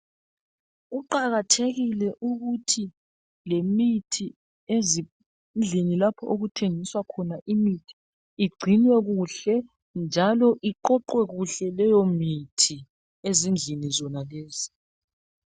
Kuqakathekike ukuthi lemithi ezindlini lapho okuthengiswa khona imithi igcinwe kuhle njalo iqoqwe kuhle leyomithi ezindlini zonalezi.